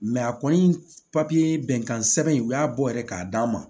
a kɔni papiye bɛnkan sɛbɛn in u y'a bɔ yɛrɛ k'a d'a ma